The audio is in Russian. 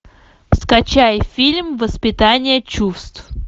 скачай фильм воспитание чувств